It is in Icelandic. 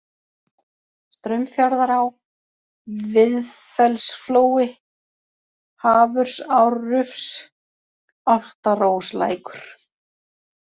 Straumfjarðará, Viðfellsflói, Hafursárufs, Álftaróslækur